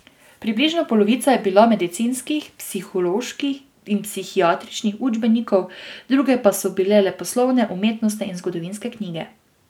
Približno polovica je bila medicinskih, psiholoških in psihiatričnih učbenikov, druge pa so bile leposlovne, umetnostne in zgodovinske knjige.